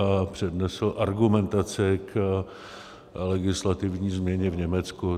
A přednesl argumentaci k legislativní změně v Německu.